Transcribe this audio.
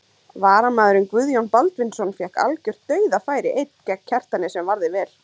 Varamaðurinn Guðjón Baldvinsson fékk algjört dauðafæri einn gegn Kjartani sem varði vel.